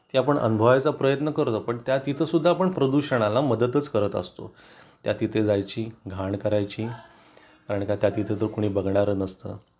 पण त्या तिथे सुद्धा आपण प्रदूषणाला मदतच करत असतो त्या तिथे जायची घाण करायची आणि त्या तिथे तर कुणी बघणार नसतं